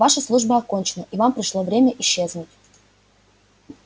ваша служба окончена и вам пришло время исчезнуть